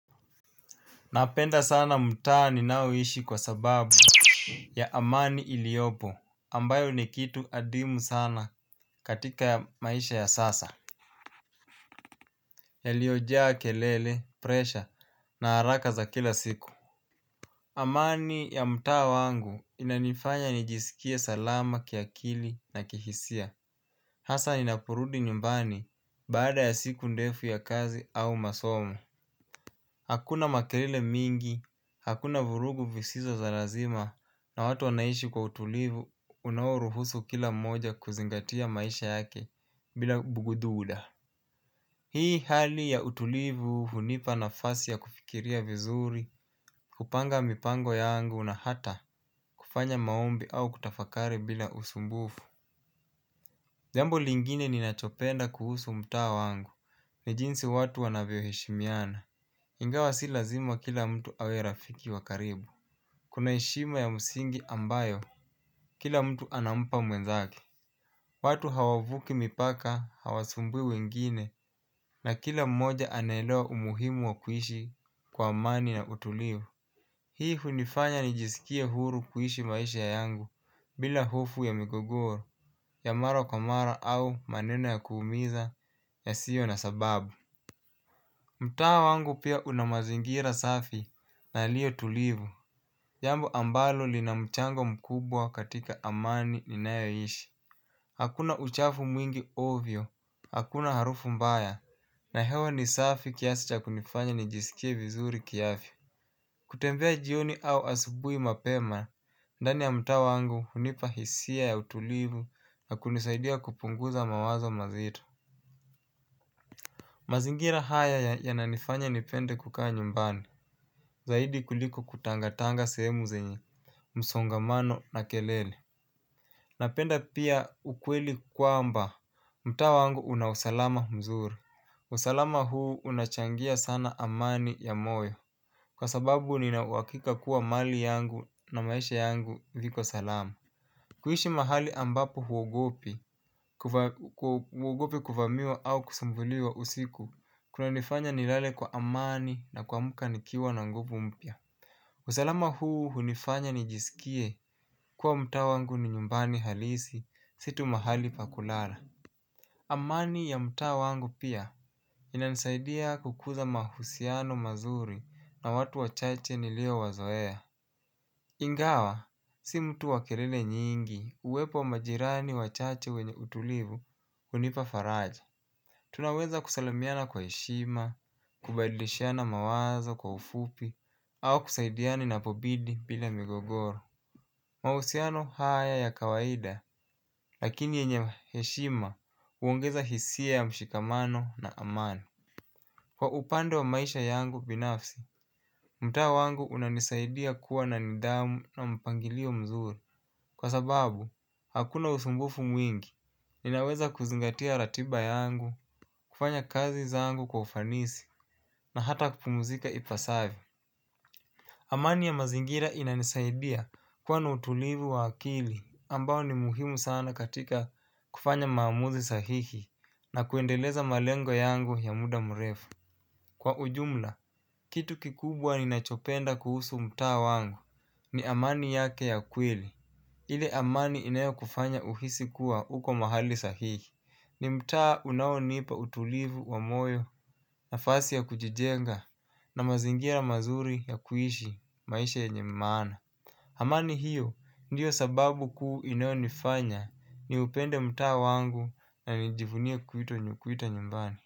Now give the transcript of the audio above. Napenda sana mtaa ninaoishi kwa sababu, ya amani iliopo. Ambayo ni kitu adimu sana katika maisha ya sasa. Yaliojaa kelele, presha na haraka za kila siku. Amani ya mtaa wangu, inanifanya nijisikie salama, kiakili na kihisia. Hasa ninaporudi nyumbani. Baada ya siku ndefu ya kazi, au masomo. Hakuna makelele mingi. Hakuna vurugu visizo za lazima na watu wanaishi kwa utulivu unaouruhusu kila mmoja kuzingatia maisha yake, bila, bugudhuda. Hii hali ya utulivu, hunipa nafasi ya kufikiria vizuri, kupanga mipango yangu na hata, kufanya maombi au kutafakari bila usumbufu. Jambo lingine ninachopenda kuhusu mtaa wangu, ni jinsi watu wanavyo heshimiana. Ingawa si lazima kila mtu awe rafiki wa karibu kuna heshima ya msingi ambayo, kila mtu anampa mwenzake. Watu hawavuki mipaka, hawasumbui wengine na kila mmoja anaelewa umuhimu wa kuishi kwa amani na utulivu. Hii hunifanya nijisikie huru kuishi maisha yangu, bila hofu ya migogoro, ya mara kwa mara au, maneno ya kuumiza, yasio na sababu. Mtaa wangu pia, una mazingira safi na yaliyo tulivu. Jambo ambalo linamchango mkubwa katika amani ninayoishi. Hakuna uchafu mwingi ovyo, hakuna harufu mbaya. Na hewa ni safi, kiasi ta kunifanya nijisikie vizuri kiafi. Kutembea jioni au asubui mapema, ndani ya mtaa wangu, unipa hisia ya utulivu na kunisaidia kupunguza mawazo mazitu. Mazingira haya, yananifanya nipende kukaa nyumbani. Zaidi kuliko kutangatanga sehemu zenye, msongamano na kelele. Napenda pia, ukweli kwamba, mtaa wangu unausalama mzuri. Usalama huu unachangia sana amani ya moyo. Kwa sababu ninauwakika kuwa mali yangu na maisha yangu viko salam. Kuishi mahali ambapo huogopi, huogopi kuvamiwa au kusumbuliwa usiku. Kunanifanya nilale kwa amani na kuamka nikiwa na nguvu mpya. Usalama huu hunifanya nijisikie kuwa mtaa wangu ni nyumbani halisi, si tu mahali paku lara. Amani ya mtaa wangu pia, inansaidia kukuza mahusiano mazuri. Na watu wachache nilio wazoea Ngawa, si mtu wakerele nyingi. Uwepo majirani wachache wenye utulivu, hunipa faraja. Tunaweza kusalamiana kwa heshima, kubadlishiana mawazo kwa ufupi, au kusaidiana inapobidi, bila migogoro. Mahusiano haya ya kawaida, lakini yenye heshima, uongeza hisia ya mshikamano na amani. Kwa upande wa maisha yangu binafsi, mtaa wangu unanisaidia kuwa na nidhamu na mpangilio mzuri. Kwa sababu, hakuna usumbufu mwingi. Ninaweza kuzingatia ratiba yangu, kufanya kazi zangu kwa ufanisi na hata kupumzika ipasavi. Amani ya mazingira inanisaidia, kua na utulivu wa akili. Ambao ni muhimu sana katika kufanya maamuzi sahihi. Na kuendeleza malengo yangu ya muda mrefu. Kwa ujmla, kitu kikubwa ninachopenda kuhusu mtaa wangu, ni amani yake ya kweli. Ile amani inayo kufanya uhisi kuwa uko mahali sahihi. Ni mtaa unaonipa utulivu wa moyo, nafasi ya kujijenga na mazingira mazuri ya kuishi maisha yenye maana. Amani hiyo, ndio sababu kuu inayonifanya, niupende mtaa wangu na nijivunie kuita nyumbani.